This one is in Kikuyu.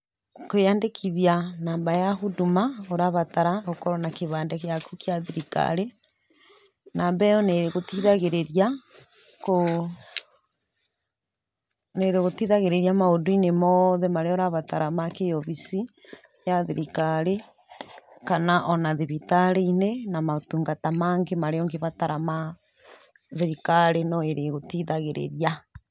Kwĩyandĩkithia namba ya Huduma, ũrabata ũkorwo na kĩbandĩ gĩaku gĩa thirikari. Namba ĩyo nĩgũteithagĩrĩria maũndũ-inĩ mothe marĩa ũrabatara ma kĩ obici ya thirikari, kana ona thibitarĩ-inĩ ona motungata mangĩ marĩa ũngĩbatara ma thirikari, no ĩrĩgũteithagĩrĩria.